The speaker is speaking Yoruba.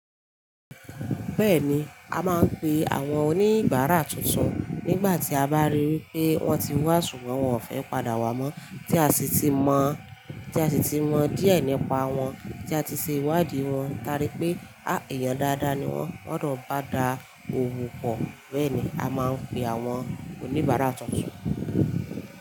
Bẹ́ẹ̀ni, a máa ń pe àwọn oníbárà tuntun nígbà tí a bá rí wipé wọ́n ti wá ṣùgbọ́n wọn ò fẹ́ padà wá mọ́, tí a sì ti mọ, tí a sì ti mọ díẹ̀ nípa wọn, tí a ti ṣe ìwádìí wọn. Taarí pé á, èèyàn dáadáa ni wọ́n, wọ́n dun bá da òwo pò. Bẹ́ẹ̀ni, a máa ń pè àwọn oníbárà tuntun.